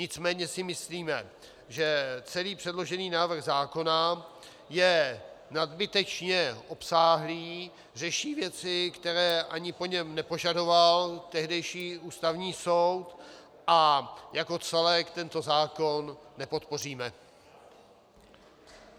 Nicméně si myslíme, že celý předložený návrh zákona je nadbytečně obsáhlý, řeší věci, které ani po něm nepožadoval tehdejší Ústavní soud, a jako celek tento zákon nepodpoříme.